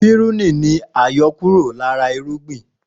Pírúnì ni àyọkúrọ̀ lára irúgbìn